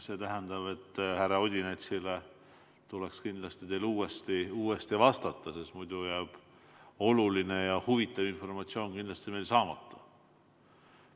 See tähendab, et härra Odinetsile tuleks teil kindlasti uuesti vastata, sest muidu jääb meil oluline ja huvitav informatsioon saamata.